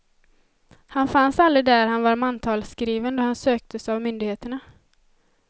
Han fanns aldrig där han var mantalsskriven då han söktes av myndigheterna.